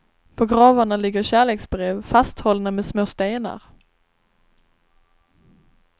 På gravarna ligger kärleksbrev, fasthållna med små stenar.